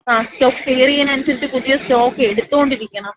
Stock clear അനുസരിച്ച് പുതിയ stock എടുത്തോണ്ടിരിക്കണം.